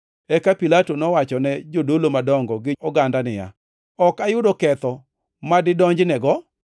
Eka Pilato nowachone jodolo madongo gi oganda niya, “Ok ayudo ketho madidonjnego.”